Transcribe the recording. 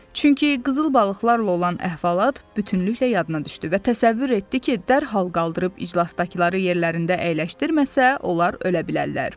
Çünki qızıl balıqlarla olan əhvalat bütünlüklə yadına düşdü və təsəvvür etdi ki, dərhal qaldırıb iclasdakıları yerlərində əyləşdirməsə, onlar ölə bilərlər.